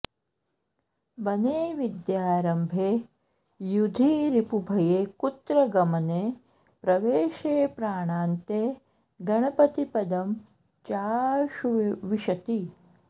बने विद्यारम्भे युधि रिपुभये कुत्र गमने प्रवेशे प्राणान्ते गणपतिपदं चाऽऽशु विशति